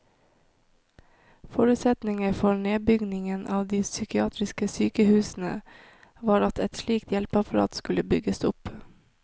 Forutsetningen for nedbyggingen av de psykiatriske sykehusene var at et slikt hjelpeapparat skulle bygges opp.